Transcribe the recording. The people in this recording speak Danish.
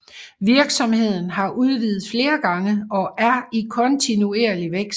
Virksomheden har udvidet flere gange og er i kontinuerlig vækst